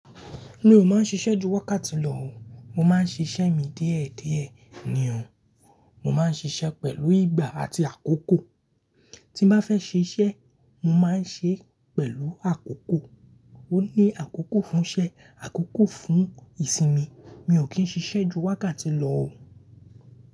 Mi ò máa ń ṣiṣẹ́ ju wákàtí lọ o, mo máa ń ṣiṣẹ́ mi díẹ̀ díẹ̀ ní o. Mo má ń ṣiṣẹ́ pẹ̀lú ìgbà àti àkókò. Tí nbá fẹ́ ṣiṣẹ́, mo máa ń ṣe é pẹ̀lú àkókò. Ó ní àkókò fún iṣẹ́, àkókò fún ìsinmi. Mi ò kí ń ṣiṣẹ́ ju wákàtí lọ o.